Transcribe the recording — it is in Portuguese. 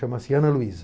Chama-se Ana Luísa.